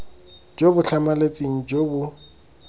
jo bo tlhamaletseng jo bo